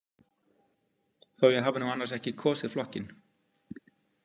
Þó að ég hafi nú annars ekki kosið flokkinn.